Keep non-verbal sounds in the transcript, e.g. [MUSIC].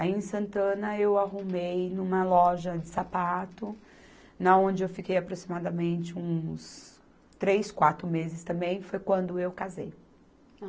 Aí em Santana eu arrumei numa loja de sapato, [UNINTELLIGIBLE] onde eu fiquei aproximadamente uns três, quatro meses também, foi quando eu casei.